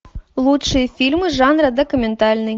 лучшие фильмы жанра документальный